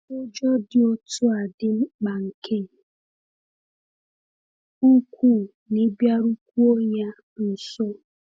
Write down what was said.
Ụjọ dị otu a dị mkpa nke ukwuu n’ịbịarukwuo ya nso.